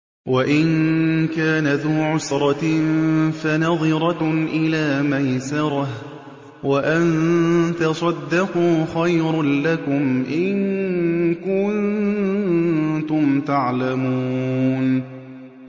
وَإِن كَانَ ذُو عُسْرَةٍ فَنَظِرَةٌ إِلَىٰ مَيْسَرَةٍ ۚ وَأَن تَصَدَّقُوا خَيْرٌ لَّكُمْ ۖ إِن كُنتُمْ تَعْلَمُونَ